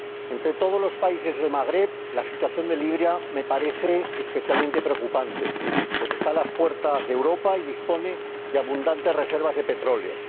Entre todos los países del Magreb, la situación de Libia me parece especialmente preocupante, pues está a las puertas de Europa y dispone de abundantes reservas de petróleo.